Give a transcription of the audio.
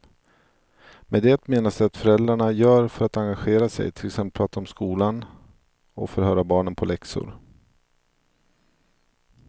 Med det menas det föräldrarna gör för att engagera sig, till exempel prata om skolan och förhöra barnen på läxor.